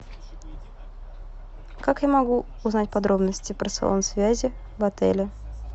как я могу узнать подробности про салон связи в отеле